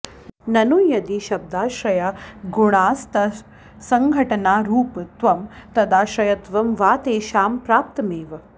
ननु यदि शब्दाश्रया गुणास्तत्सङ्घटनारूपत्वं तदाश्रयत्वं वा तेषां प्राप्तमेव